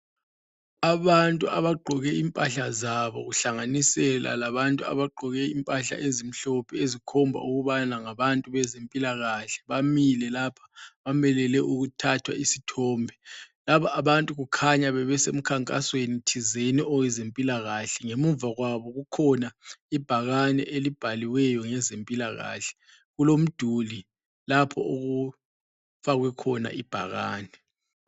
Abantu abagqoke impahla zabo kuhlanganisela labantu abagqoke impahla ezimhlophe ezikhomba ukubana ngabantu bezempilakahle bamile lapha, bamelele ukuthathwa izithombe, laba abantu kukhanya bebese mkhankasweni thizeni owezempilakahle, ngemuva kwabo kukhona ibhakane elibhaliweyo ngezempilakahle kulomduli lapho okufakwe khona ibhakane.